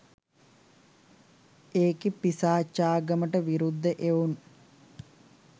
ඒකෙ පිසාචාගමට විරුද්ධ එවුන්